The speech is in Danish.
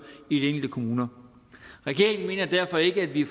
i de enkelte kommuner regeringen mener derfor ikke at vi